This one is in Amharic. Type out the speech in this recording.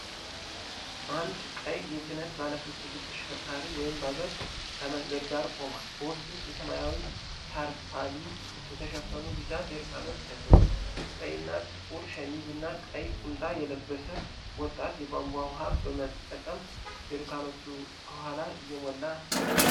አንድ ቀይ የጭነት ባለሦስት እግር ተሽከርካሪ (ባጃጅ) ከመንገድ ዳር ቆሟል፤ በውስጡ በሰማያዊ ታርፓሊን የተሸፈኑ ቢጫ ጀሪካኖች ተጭነዋል። ቀይና ጥቁር ሸሚዝ እና ቀይ ቁምጣ የለበሰ ወጣት የቧንቧ ውሃ በመጠቀም ጀሪካኖቹን ከኋላ እየሞላ ነው።